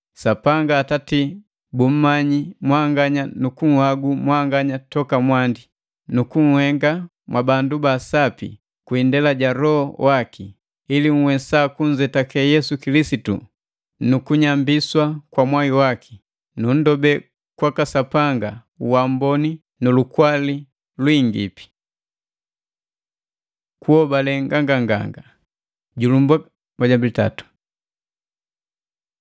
Sapanga Atati bummanyi mwanganya nu kunhagu mwanganya toka mwandi, nukunhenga mwabandu ba sapi kwindela ja Loho waki, ili nhwesa kunzetake Yesu Kilisitu nu kunyambiswa kwa mwai waki. Nundobe kwaka Sapanga uamboni nu lukwali lwingipi. Kunhobale nganganganga